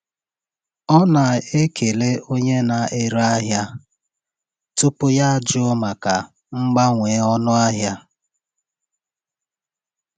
Ọ na-ekele onye na-ere ahịa tupu ya ajụọ maka mgbanwe ọnụ ahịa.